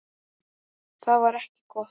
Það var ekki gott.